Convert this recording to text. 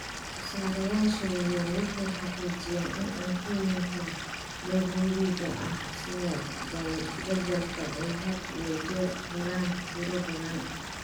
Soosaarayaasha waaweyni waxay xaqiijiyaan in cuntooyinka daruuriga ah sida badarka ay had iyo jeer helaan tiro badan.